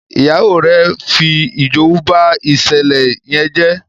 Ìyàwó rẹ fí ijowú bá ìṣẹlẹ yén jé.